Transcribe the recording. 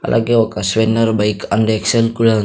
అలాగే ఒక స్వెన్నర్ బైక్ అండ్ ఎక్స్ ఎల్ కూడా ఉంది.